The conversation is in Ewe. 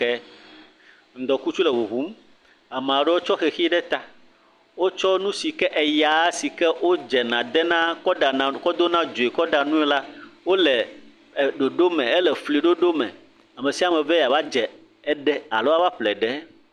Ke ŋdɔkutsu le ʋuʋum, ameaɖewo tsɔ xexi ɖe ta, wotsɔ nusike, eya sike wodzena dena kɔ ɖana kɔ dona dzoe la kɔɖa nue la wole ɖoɖo me, ele efli ɖoɖo me. Amesiame be yeava dze ɖe, alo yeava ƒle eɖe.